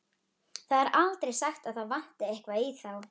Það er aldrei sagt að það vanti eitthvað í þá.